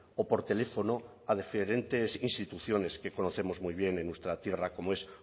o por teléfono a diferentes instituciones que conocemos muy bien en nuestra tierra como es